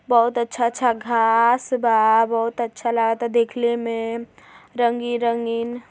बहुत अच्छा-अच्छा घाँस बा बहुत अच्छा लाता देखले में। रंगीन-रंगीन --